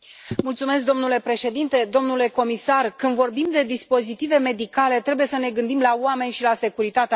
Domnule președinte, domnule comisar, când vorbim de dispozitive medicale, trebuie să ne gândim la oameni și la securitatea lor.